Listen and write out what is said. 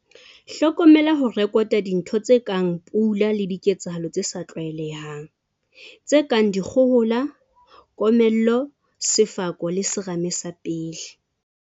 Hlokomela ho rekota dintho tse kang pula le diketsahalo tse sa tlwaelehang, tse kang dikgohola, komello, sefako le serame sa pele.